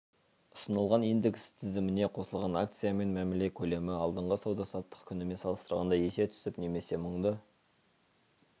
ұсынылған индекс тізіміне қосылған акциямен мәміле көлемі алдыңғы сауда-саттық күнімен салыстырғанда есе түсіп немесе мыңды